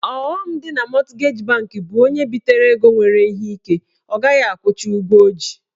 Ọghọm dị na mọtgeji banki bụ onye bitere ego nwere ike ọ ghaghị akwụcha ụgwọ ọ ji.